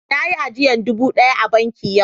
Na yi ajiyan dubu daya a banki yau.